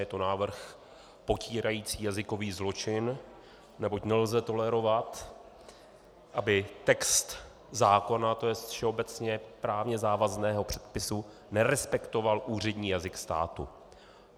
Je to návrh potírající jazykový zločin, neboť nelze tolerovat, aby text zákona, to jest všeobecně právně závazného předpisu, nerespektoval úřední jazyk státu.